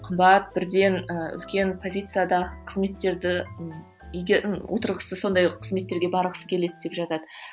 қымбат бірден і үлкен позицияда қызметтерді отырғысы сондай қызметтерге барғысы келеді деп жатады